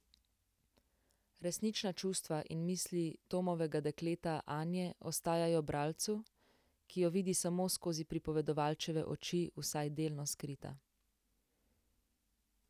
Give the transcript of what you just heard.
Resnična čustva in misli Tomovega dekleta Anje ostajajo bralcu, ki jo vidi samo skozi pripovedovalčeve oči, vsaj delno skrita.